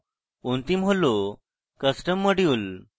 অন্তিম module হল custom module